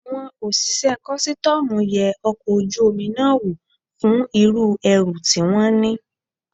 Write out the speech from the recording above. Àwọn òṣìṣẹ́ kọ́sítọ́mù yẹ ọkọ̀ ojú omi náà wò fún irú ẹrù tí wón ní.